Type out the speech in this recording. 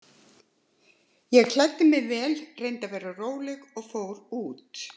Ég klæddi mig vel, reyndi að vera róleg og fór út.